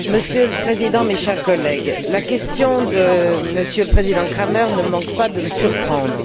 Monsieur le Président, mes chers collègues, la question de M. le président Cramer ne manque pas de me surprendre.